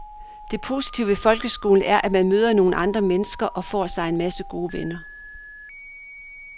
Det positive ved folkeskolen er at man møder nogle andre mennesker og for sig en masse gode venner.